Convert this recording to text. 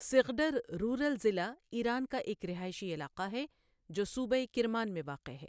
سغڈر rural ضلع Iran کا ایک رہائشی علاقہ ہے جو صوبہ کرمان میں واقع ہے